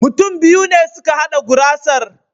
Mutum biyu ne suka hada gurasar.